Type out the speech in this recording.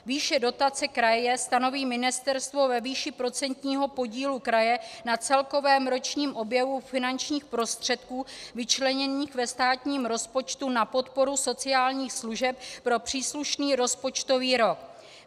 Výše dotace kraje stanoví ministerstvo ve výši procentního podílu kraje na celkovém ročním objemu finančních prostředků vyčleněných ve státním rozpočtu na podporu sociálních služeb pro příslušný rozpočtový rok.